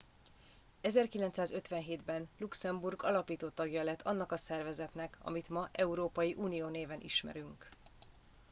1957 ben luxemburg alapító tagja lett annak a szervezetnek amit ma európai unió néven ismerünk